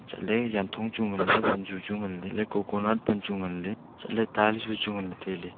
chatley janthong chu nganley wanzu chu nganley elah e coconut pan chu nganley chatley tar ju chu ngailey tailey.